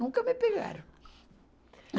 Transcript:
Nunca me pegaram.